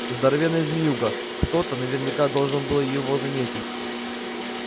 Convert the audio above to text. здоровенная змеюга кто-то наверняка должен был его заметить